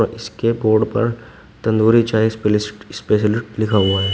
इसके बोर्ड पर तंदूरी चाय स्पेलिस स्पेशलिस्ट लिखा हुआ है।